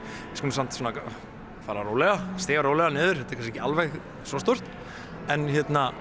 skulum samt fara rólega stíga rólega niður þetta er kannski ekki alveg svo stórt en